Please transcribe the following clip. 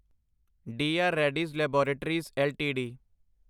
D R Reddy's laboratories LTD